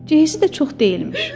Cehizi də çox deyilmiş.